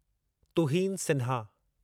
Tuhin Sinha